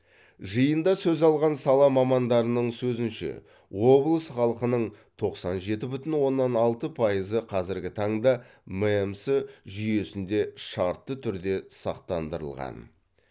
жиында сөз алған сала мамандарының сөзінше облыс халқының тоқсан жеті бүтін оннан алты пайызы қазіргі таңда мэмс жүйесінде шартты түрде сақтандырылған